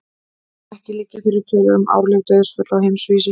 Ekki liggja fyrir tölur um árleg dauðsföll á heimsvísu.